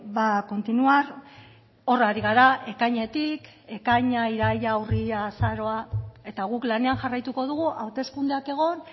va a continuar hor ari gara ekainetik ekaina iraila urria azaroa eta guk lanean jarraituko dugu hauteskundeak egon